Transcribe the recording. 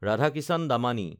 Radhakishan Damani